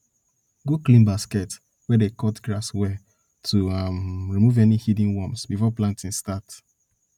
go clean basket wey dey cut grass well to um remove any hidden worms before planting starts